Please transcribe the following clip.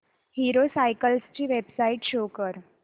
hero cycles ची website show कर